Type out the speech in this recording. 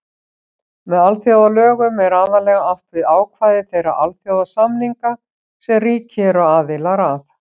Með alþjóðalögum er aðallega átt við ákvæði þeirra alþjóðasamninga sem ríki eru aðilar að.